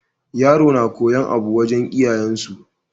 Yaro na koyar abu wajan iyayen su